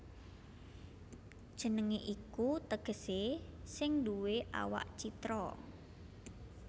Jenengé iku tegesé sing nduwé awak citra